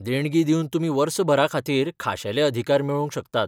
देणगी दिवन तुमी वर्सभराखातीर खाशेले अधिकार मेळोवंक शकतात.